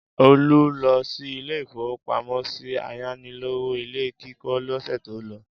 Olú lọ sí ilé-ìfowópamọ́sí ayánilówó ilé kíkọ́ lọ́sẹ̀ tó lọ.